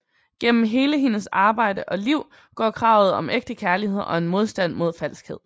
Gennem hele hendes arbejde og liv går kravet om ægte kærlighed og en modstand mod falskhed